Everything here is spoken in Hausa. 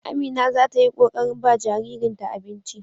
Amina za ta yi ƙoƙarin ba jaririnta abinci.